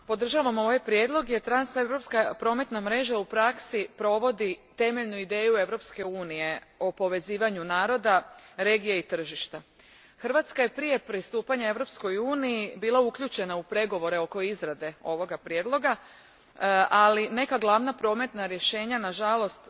Gospodine predjsedniče, podržavam ovaj prijedlog jer transeuropska prometna mreža u praksi provodi temeljnu ideju Europske unije o povezivanju naroda, regije i tržišta. Hrvatska je prije pristupanja Europskoj uniji bila uključena u pregovore oko izrade ovoga prijedloga, ali neka glavna prometna rješenja ostala su nažalost